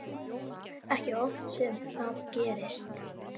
Ekki oft sem það gerist.